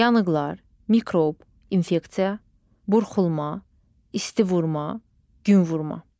Yanıqlar, mikrob, infeksiya, burxulma, isti vurma, gün vurma.